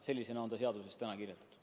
Sellisena on see seaduses kirjas.